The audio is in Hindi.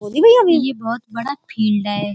ये बहोत बड़ा फील्ड है।